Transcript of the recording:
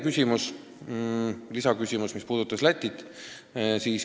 Teine küsimus puudutas Lätit.